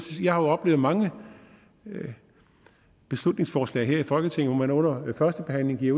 har oplevet mange beslutningsforslag her i folketinget hvor man under førstebehandlingen